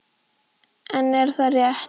En er þetta rétt?